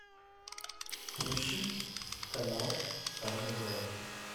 включи канал тайны галактики